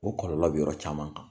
O kɔlɔlɔ bi yɔrɔ caman kan.